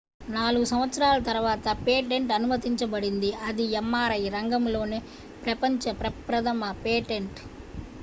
4 సంవత్సరాల తర్వాత పేటెంట్ అనుమతించబడింది అది mri రంగంలోనే ప్రపంచ ప్రప్రథమ పేటెంట్